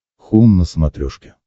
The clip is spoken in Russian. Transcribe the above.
хоум на смотрешке